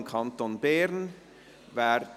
im Kanton Bern» ab.